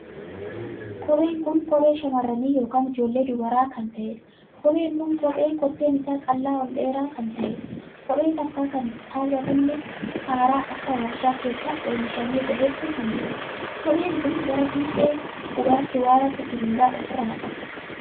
Kopheen kun kophee shamarranii ykn ijoollee dubaraa kan taheedha. kophee kun kophee kotteen isaa qal'aa ol dheeraa kan taheedha. kophee takkaa kan hin kaawwatamnee haaraa akka warshaa keessaa oomishamee bahetti kanjirudha. kopheen kun gara fiixee qubaatti waan akka sibiila ofiirraa qaba.